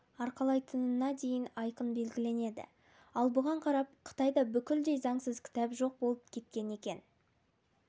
арқалайтынына дейін айқын белгіленеді ал бұған қарап қытайда бүкілдей заңсыз кітап жоқ болып кеткен екен